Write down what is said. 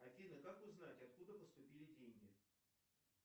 афина как узнать откуда поступили деньги